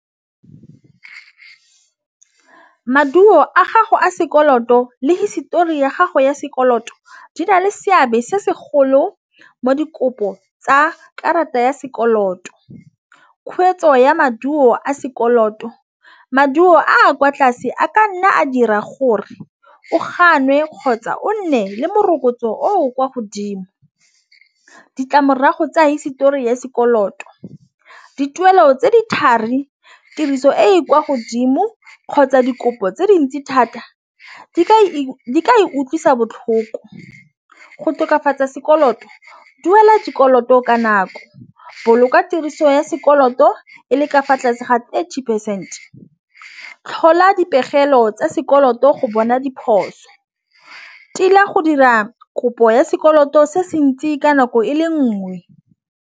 Maduo a gago a sekoloto le hisitori ya gago ya sekoloto di na le seabe se se golo mo dikopo tsa karata ya sekoloto kgweetso ya maduo a sekoloto. Maduo a kwa tlase a ka nna a dira gore o gannwe kgotsa o nne le morokotso o o kwa godimo ditlamorago tsa hisetori ya sekoloto. Dituelo tse di thari tiriso e e kwa godimo kgotsa dikopo tse dintsi thata di ka utlwisa botlhoko go tokafatsa sekoloto duela dikoloto ka nako bolokwa tiriso ya sekoloto e le ka fa tlase ga eighty percent tlhola dipegelo tsa sekoloto go bona diphoso tila go dira kopo ya sekoloto se se ntsi ka nako e le nngwe.